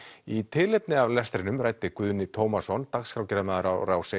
í tilefni af lestrinum ræddi Guðni Tómasson dagskrárgerðarmaður á Rás